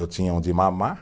Eu tinha onde mamar.